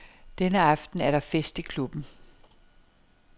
Denne aften er der fest i klubben.